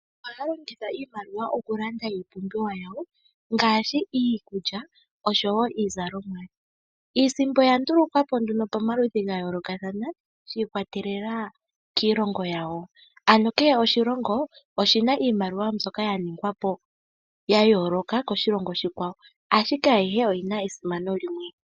Aantu ohaya longitha iimaliwa okulanda iipumbiwa yawo ngaashi iikulya osho wo iizalomwa. Iisimpo oya ndulukwa po pomaludhi ga yoolokathana shi ikwatelela kiilongo yawo ano kehe oshilongo oshi na iimaliwa mbyoka ya ningwa po ya yooloka kiilongo iikwawo ashike ayihe oyi na esimano limwe.